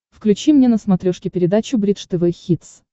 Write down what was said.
включи мне на смотрешке передачу бридж тв хитс